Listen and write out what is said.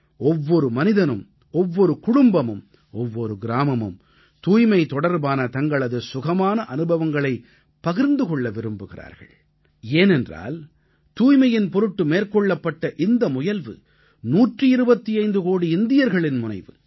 ஒவ்வொரு மனிதனும் ஒவ்வொரு குடும்பமும் ஒவ்வொரு கிராமமும் தூய்மை தொடர்பான தங்களது சுகமான அனுபவங்களைப் பகிர்ந்து கொள்ள விரும்புகிறார்கள் ஏனென்றால் தூய்மையின் பொருட்டு மேற்கொள்ளப்பட்ட இந்த முயல்வு 125 கோடி இந்தியர்களின் முயல்வு